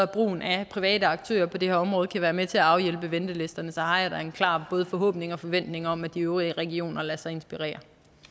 brugen af private aktører på det her område kan være med til at afhjælpe ventelisterne har jeg da en klar både forhåbning og forventning om at de øvrige regioner lader sig inspirere